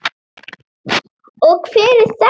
Og hver er þetta?